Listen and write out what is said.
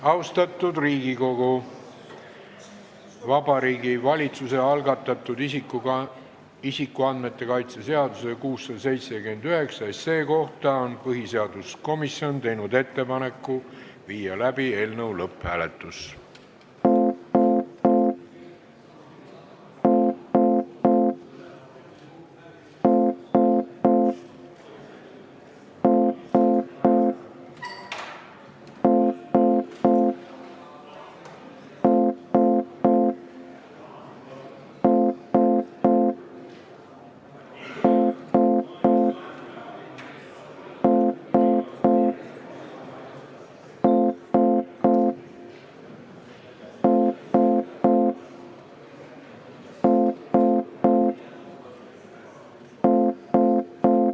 Austatud Riigikogu, Vabariigi Valitsuse algatatud isikuandmete kaitse seaduse eelnõu 679 kohta on põhiseaduskomisjon teinud ettepaneku viia läbi lõpphääletus.